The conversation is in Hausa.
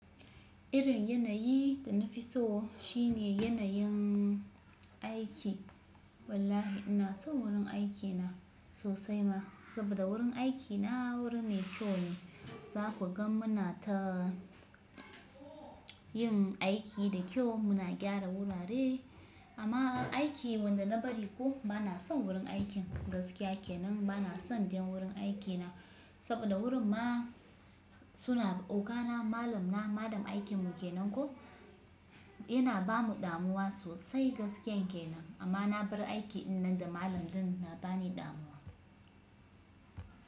Irin yanayi da na fi so shine yanayin aiki. Wallahi ina son wurin aikina sosai ma, saboda wurin aikina wuri mai kyau ne. Za ku ga muna ta yin aiki da kyau, muna gyara wurare. Amma aiki wanda na bari ko bana son wurin aikin gaskiya kenan. Bana son ɗayan wurin aikina, saboda wurin ma suna ogana malam na, malam aikin mu kenan ko. Yana ba mu damuwa sosai gaskiyan kenan. Amma na bar aiki dinnan da malam din na ba ni damuwa.